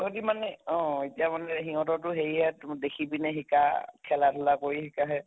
তহঁতে মানে অহ এতিয়া মানে হিহঁতৰ টো হেৰি ইয়াত দেখি পিনে শিকা, খেলা ধুলা কৰি শিকাহে